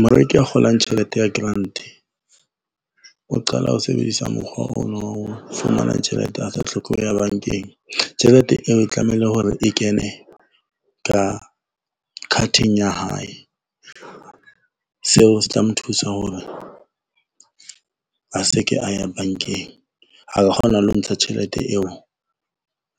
Moreki a kgolang tjhelete ya grant, o qala ho sebedisa mokgwa ona wa ho fumana tjhelete a sa tlhoke ho ya bankeng tjhelete eo e tlamehile hore e kene ka card-eng ya hae. Seo se tla mo thusa hore a se ke a ye bankeng, a ka kgona le ho ntsha tjhelete eo